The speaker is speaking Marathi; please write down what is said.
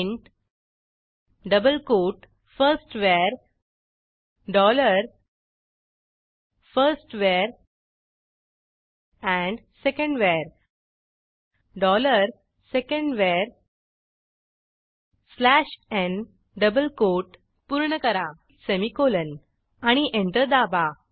print double quote firstVar dollar first var and secondVar dollar second var slash n double quote पूर्ण करा सेमिकोलॉन आणि एंटर दाबा